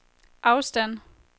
afstand